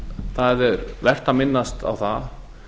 það er vert að minnast á það